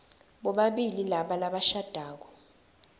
bobabili laba labashadako